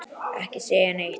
Ekki segja neitt!